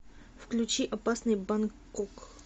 включи опасный бангкок